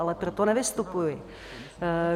Ale proto nevystupuji.